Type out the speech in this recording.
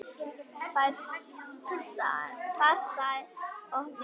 Farsæl opnun.